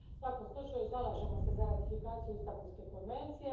U svakom slučaju, zalažemo se za ratifikaciju Istanbulske konvencije.